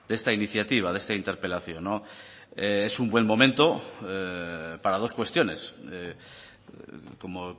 esta iniciativa de esta interpelación es un buen momento para dos cuestiones como